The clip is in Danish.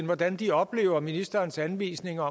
hvordan de oplever ministerens anvisninger